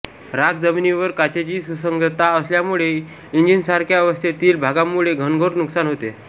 राख जमिनीवर काचेची सुसंगतता असल्यामुळे इंजिन्ससारख्या अवस्थेतील भागांमुळे घनघोर नुकसान होते